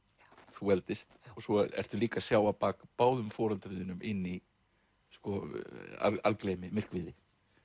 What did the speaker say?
þú eldist og svo ertu líka að sjá á bak báðum foreldrum þínum inn í sko algleymi myrkviði